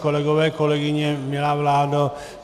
Kolegové, kolegyně, milá vládo.